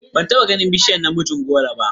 Ban taba ganin bishiyar namijin goro ba.